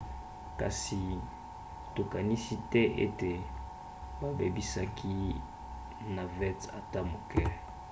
kasi tokanisi te ete babebisaki navette ata moke